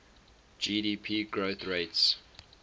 gdp growth rates